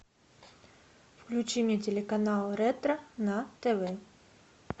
включи мне телеканал ретро на тв